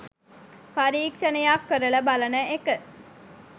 පරීක්ෂණයක් කරලා බලන එක.